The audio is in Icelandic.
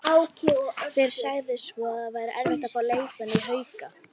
Hver sagði svo að það væri erfitt að fá leikmenn í Hauka?